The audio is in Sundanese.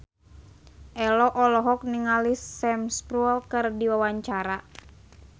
Ello olohok ningali Sam Spruell keur diwawancara